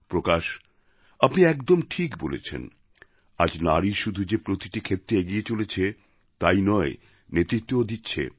প্রকাশ আপনি একদম ঠিক বলেছেন আজ নারী শুধু যে প্রতিটি ক্ষেত্রে এগিয়ে চলেছে তাই নয় নেতৃত্বও দিচ্ছে